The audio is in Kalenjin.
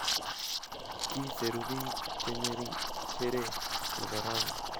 kiseru biik chengering shereee nebo rauni